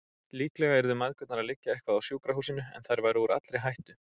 Líklega yrðu mæðgurnar að liggja eitthvað á sjúkrahúsinu, en þær væru úr allri hættu.